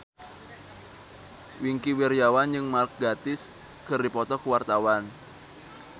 Wingky Wiryawan jeung Mark Gatiss keur dipoto ku wartawan